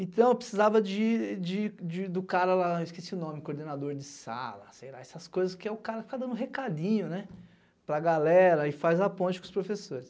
Então eu precisava de, de, de, do cara lá, esqueci o nome, coordenador de sala, sei lá, essas coisas que é o cara que fica dando recadinho, né, para galera e faz a ponte com os professores.